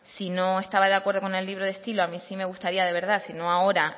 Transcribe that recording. si no estaba de acuerdo con el libro de estilo a mí sí me gustaría de verdad si no ahora